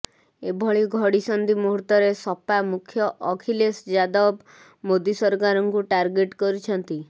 ଏଭଳି ଘଡ଼ିସନ୍ଧି ମୁହୁର୍ତ୍ତରେ ସପା ମୁଖ୍ୟ ଅଖିଲେଶ ଯାଦବ ମୋଦି ସରକାରଙ୍କୁ ଟାର୍ଗେଟ କରିଛନ୍ତି